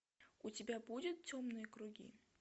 у тебя будет темные круги